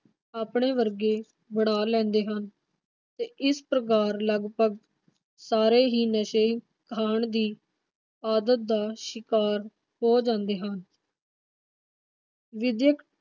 ਆਪਣੇ ਵਰਗੇ ਬਣਾ ਲੈਂਦੇ ਹਨ ਤੇ ਇਸ ਪ੍ਰਕਾਰ ਲਗਪਗ ਸਾਰੇ ਹੀ ਨਸ਼ੇ ਖਾਣ ਦੀ ਆਦਤ ਦਾ ਸ਼ਿਕਾਰ ਹੋ ਜਾਂਦੇ ਹਨ। ਵਿਦਿਅਕ